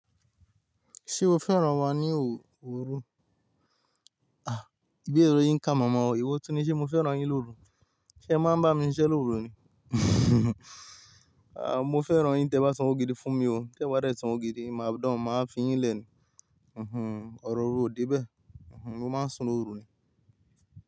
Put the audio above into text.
Ṣé o fẹ́ràn wa ni òrú? Ìbéèrè yín ká momo o, ìwo túnní, ṣé mo fẹ́ràn yín lórú? Ṣé máa ń bá mi síṣe lórú ni? Mo fẹ́ràn yín tí ẹ bá san owó gidi fún mi o, tí ẹ bá je san owó gidi, máa dán, màá fín yín lẹ̀ ni. Ọ̀rọ̀ òru ò dé bẹ́ẹ̀. Mo máa ń sún lórú ni.